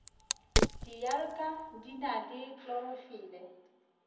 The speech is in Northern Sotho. dialga di na le klorofile